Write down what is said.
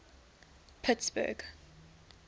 pittsburgh